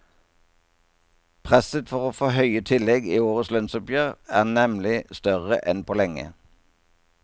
Presset for å få høye tillegg i årets lønnsoppgjør er nemlig større enn på lenge.